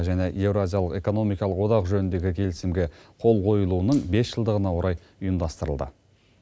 және еуразиялық экономикалық одақ жөніндегі келісімге қол қойылуының бес жылдығына орай ұйымдастырылды